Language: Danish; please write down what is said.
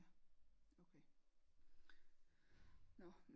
Ja okay nå